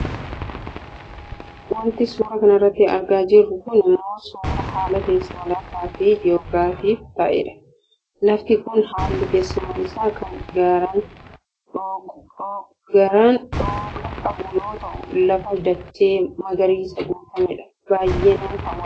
Wanti suuraa kanarratti argaa jirru kun ammoo suuraa haala teessuma lafaafi joogiraafiif ta'edha. Lafti kun haalli teessuma isaa kan garaan dhooqa qabu yoo ta'u lafa dachee magariisaan guutamedha. Baayyee nama hawwata.